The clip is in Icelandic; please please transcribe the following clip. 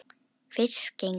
Fyrst gengu